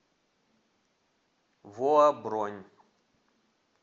воа бронь